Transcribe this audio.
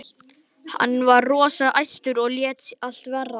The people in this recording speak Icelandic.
Hann var rosa æstur og lét allt vaða.